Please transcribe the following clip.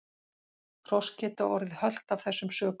Hross geta orðið hölt af þessum sökum.